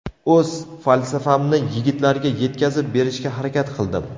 O‘z falsafamni yigitlarga yetkazib berishga harakat qildim.